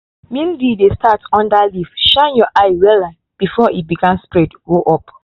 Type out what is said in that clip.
mildew dey start under leaf shine your eye wella before e begin spread go up.